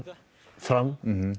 fram